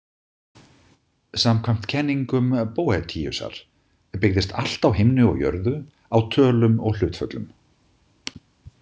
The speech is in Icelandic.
Samkvæmt kenningum Boethiusar byggðist allt á himni og jörðu á tölum og hlutföllum.